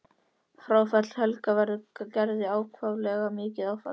Fráfall Helga verður Gerði ákaflega mikið áfall.